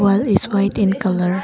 Wall is white in colour.